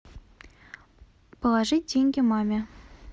положить деньги маме